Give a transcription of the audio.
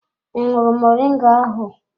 I ṅụrụ moringa ahụ?